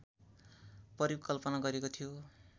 परिकल्पना गरिएको थियो